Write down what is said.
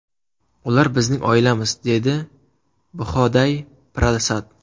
Ular bizning oilamiz”, dedi Bhoday Prasad.